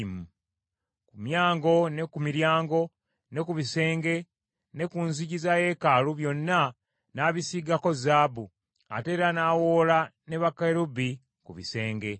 Ku myango, ne ku miryango, ne ku bisenge ne ku nzigi za yeekaalu, byonna n’abisiigako zaabu; ate era n’awoola ne bakerubi ku bisenge.